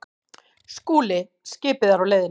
SKÚLI: Skipið er á leiðinni.